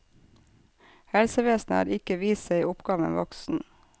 Helsevesenet har ikke vist seg oppgaven voksen.